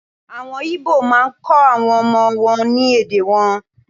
Àwọn igbo maá kọ́ àwọn ọmọ wọn ní èdè wọn.